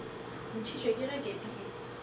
ntšhitšwe ke ge kepi e